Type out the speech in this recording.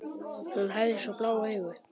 Hún hafði svo blá augu.